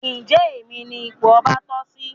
Njé Èmi ní ipò ọba toh sí?